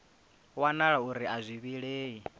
wanala uri a zwi vhilei